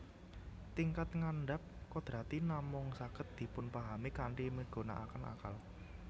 Tingkat ngandhap kodrati namung saged dipunpahami kanthi migunaaken akal